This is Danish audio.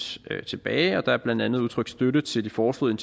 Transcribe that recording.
tilbage og der er blandt andet udtrykt støtte til de foreslåede